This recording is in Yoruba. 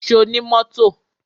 Ṣo ní mọ́tò?